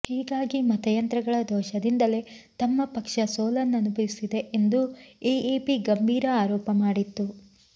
ಹೀಗಾಗಿ ಮತಯಂತ್ರಗಳ ದೋಷದಿಂದಲೇ ತಮ್ಮ ಪಕ್ಷ ಸೋಲನುಭವಿಸಿದೆ ಎಂದು ಎಎಪಿ ಗಂಭೀರ ಆರೋಪ ಮಾಡಿತ್ತು